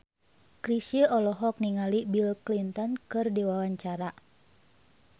Chrisye olohok ningali Bill Clinton keur diwawancara